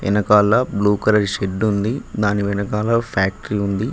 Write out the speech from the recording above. వెనకాల blue colour shed ఉంది దాని వెనకాల ఒ ఫ్యాక్ట్రీ ఉంది.